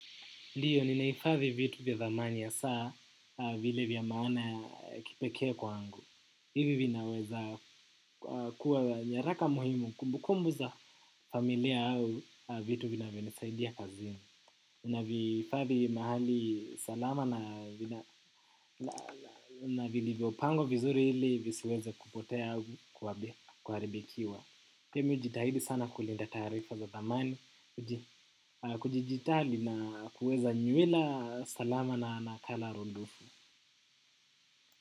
Ndiyo, ninahifadhi vitu vya thamani hasa vile vya maana ya kipekee kwangu. Ivi vinaweza kuwa nyaraka muhimu kumbukumbu za familia au vitu vinavyonisaidia kazini. Ninaviifadhi mahali salama na vilivyo pangwa vizuri ili visiweze kupotea au kuharibikiwa. Pia mi hujitahidi sana kulinda taarifa za dhamani, kujijitahidi na kuweza nywela salama na nakala rundufu.